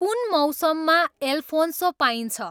कुन मौसममा एल्फोन्सो पाइन्छ